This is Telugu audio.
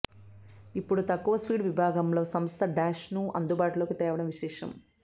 ఇప్పుడు తక్కువ స్పీడ్ విభాగంలో సంస్థ డాష్ను అందుబాటులోకి తేవడం విశేషం